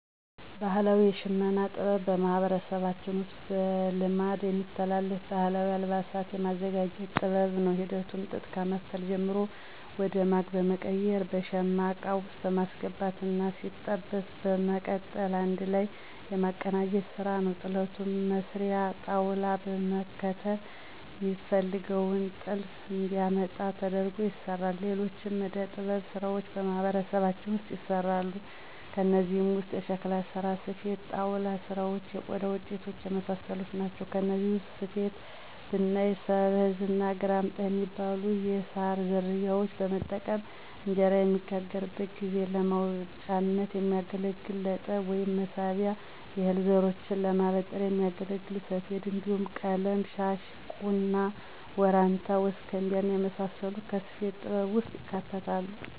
ባህላዊ የሽመና ጥበብ በማህበረሰባችን ውስጥ በልማድ የሚተላለፍ ባህላዊ አልባሳትን የማዘጋጀት ጥበብ ነው። ሂደቱም ጥጥ ከመፍተል ጀምሮ ወደ ማግ በመቀየር በሸማ እቃ ውስጥ በማስገባት እና ሲበጠስ በመቀጠል አንድ ላይ የማቀናጀት ስራ ነዉ። ጥለቱንም መስሪያ ጣውላዉን በመከተል ሚፈለገውን ጥልፍ እንዲያመጣ ተደርጎ ይሰራል። ሌሎችም የእደ-ጥበብ ስራዎች በማህበረሰባችን ውስጥ ይሰራሉ። ከእነዚህም ውስጥ የሸክላ ስራ፣ ስፌት፣ የጣውላ ስራዎች፣ የቆዳ ውጤቶች እና የመሳሰሉት ናቸው። ከነዚህ ውስጥ ስፌትን ብናይ ሰበዝ እና ግራምጣ ሚባሉ የሳር ዝርያዎችን በመጠቀም እንጀራ በሚጋገርበት ጊዜ ለማውጫነት የሚያገለግል ለጠብ ወይም መሳቢያ፣ የእህል ዘሮችን ለማበጠሪያነት ሚያገለግል ሰፌድ እንዲሁም ቀለም- ሻሽ፣ ቁና፣ ወራንታ፣ ወስከንቢያ እና የመሳሰሉት ከስፌት ጥበብ ውስጥ ይካተታሉ።